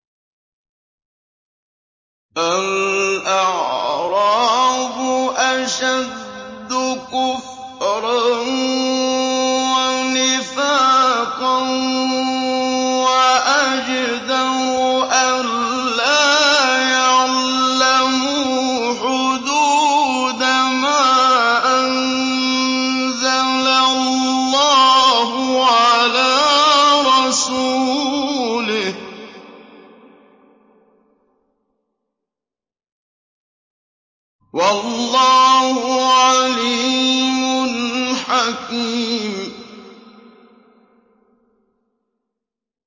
الْأَعْرَابُ أَشَدُّ كُفْرًا وَنِفَاقًا وَأَجْدَرُ أَلَّا يَعْلَمُوا حُدُودَ مَا أَنزَلَ اللَّهُ عَلَىٰ رَسُولِهِ ۗ وَاللَّهُ عَلِيمٌ حَكِيمٌ